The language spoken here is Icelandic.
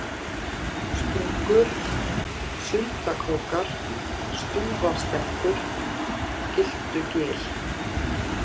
Sprungur, Sundakrókar, Stúfastekkur, Gyltugil